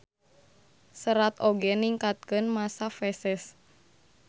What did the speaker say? Serat oge ningkatkeun masa feses.